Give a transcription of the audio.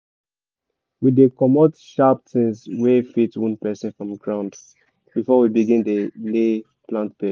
we dey comot sharp things wey fit wound person from ground before we begin dey lay plant bed